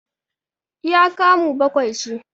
iya kamu bakwai ce